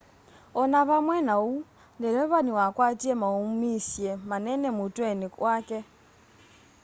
o na vamwe na uu ndeleva niwakwatie mauumisye manene mutweni wake